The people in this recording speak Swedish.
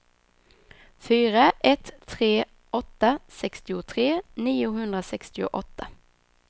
fyra ett tre åtta sextiotre niohundrasextioåtta